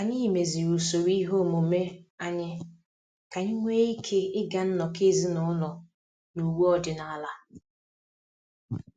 Anyị meziri usoro ihe omume anyị ka anyị nwee ike ịga nnọkọ ezinụlọ na uwe ọdịnala